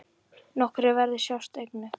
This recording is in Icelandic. Nokkrir verðir sjást einnig.